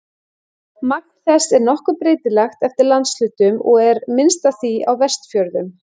Magn þess er nokkuð breytilegt eftir landshlutum og er minnst af því á Vestfjörðum.